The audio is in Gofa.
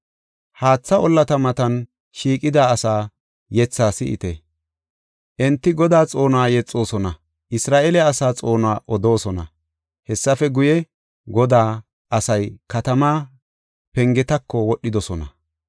Haatha ollata matan, shiiqida asaa yetha si7ite. Enti Godaa xoonuwa yexoosona; Isra7eele asaa xoonuwa odoosona. Hessafe guye, Godaa asay katamaa pengetako wodhidosona.